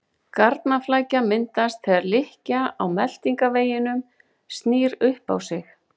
Garnaflækja myndast þegar lykkja á meltingarveginum snýr upp á sig.